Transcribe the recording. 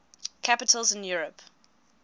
capitals in europe